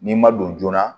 N'i ma don joona